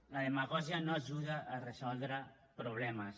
la demagògia no ajuda a resoldre problemes